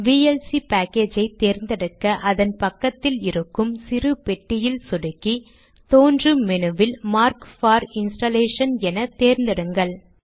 VLC package ஐ தேர்ந்தெடுக்க அதன் பக்கத்தில் இருக்கும் சிறு பெட்டியில் சொடுக்கி தோன்றும் மெனுவில் மார்க் பார் இன்ஸ்டாலேஷன் என தேர்ந்தெடுங்கள்